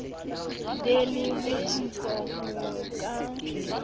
be le botsitso ho ka